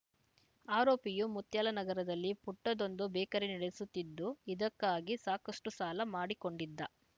ಆರೋಪಿಯು ಮುತ್ಯಾಲನಗರದಲ್ಲಿ ಪುಟ್ಟದೊಂದು ಬೇಕರಿ ನಡೆಸುತ್ತಿದ್ದು ಇದಕ್ಕಾಗಿ ಸಾಕಷ್ಟುಸಾಲ ಮಾಡಿಕೊಂಡಿದ್ದ